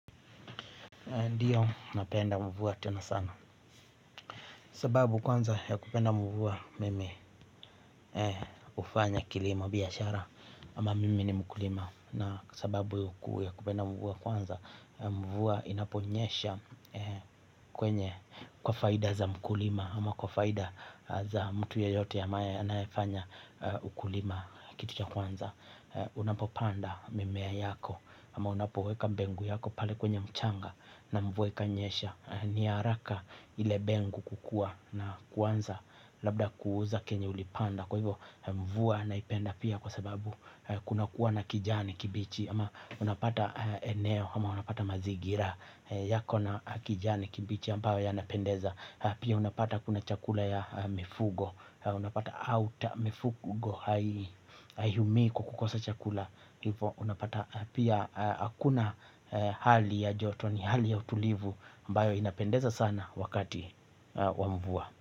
Ndiyo, napenda mvua tena sana. Sababu ya kwanza ya kupenda mvua, mimi hufanya kilimo na biashara. Ama mimi ni mkulima? Na sababu ya kupenda mvua, kwanza, mvua inaponyesha. Kwa faida za mkulima, ama kwa faida za mtu yeyote anayefanya ukulima, kitu cha kwanza, unapopanda mimea yako ama unapoweka mbegu yako pale kwenye mchanga, na mvua ikinyesha, ni haraka ile mbegu kukua. Na kwanza labda kuuza kenye ulichopanda. Kwa hivyo, mvua naipenda pia kwa sababu kuna kuwa na kijani kibichi, ama unapata eneo, ama unapata mazingira yako na kijani kibichi ambayo yanapendeza. Pia unapata kuna chakula cha mifugo, unapata mifugo hawakosi chakula. Pia hakuna hali ya joto, ni hali ya utulivu ambayo inapendeza sana wakati wa mvua.